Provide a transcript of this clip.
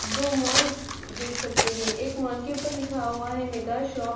दो मॉलस देख सकते है एक मॉल के ऊपर लिखा हुआ है मेगा शोप --